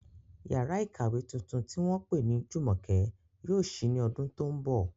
Yàrá ìkàwé tuntun tí wọ́n pè ní Jumoke yóò ṣí ní ọdún tó ń bọ̀.